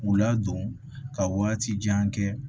K'u ladon ka waati jan kɛ